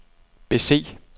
bese